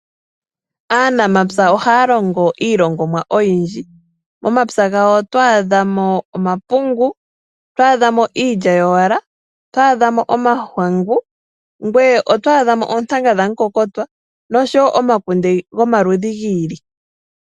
Aanamapya ohaya longo iilongomwa oyindji. Momapya gawo otwaadhamo omapungu, iilya yowala, omahangu, oontanga dhamukokotwa oshowo omakunde gomaludhi giili.